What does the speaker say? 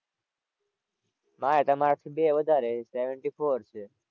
મારે તમારાથી બે વધારે seventy four છે.